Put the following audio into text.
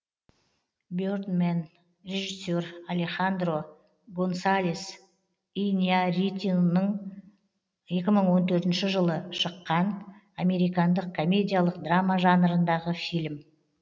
бердмэн режиссер алехандро гонсалес иньярритуның екі мың он төртінші жылы шыққын американдық комедиялық драма жанырындағы фильм